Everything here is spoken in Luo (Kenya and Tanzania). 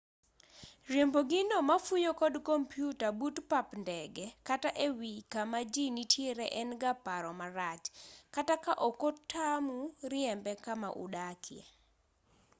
riembo gino mafuyo kod kompyuta but pap ndege kata e wii kama jii nitiere en ga paro marach kata ka ok otamu riembe kama udakie